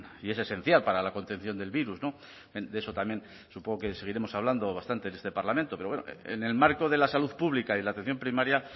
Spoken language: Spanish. y es esencial para la contención del virus de eso también supongo que seguiremos hablando bastante en este parlamento pero bueno en el marco de la salud pública y la atención primaria